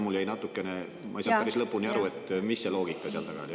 Ma ei saa päris lõpuni aru, mis loogika seal taga oli.